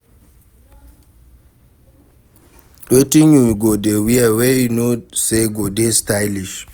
wetin you go dey wear wey you know say go dey stylish?